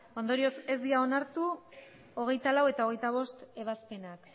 ondorioz ez dira onartu hogeita laugarrena eta hogeita bostgarrena ebazpenak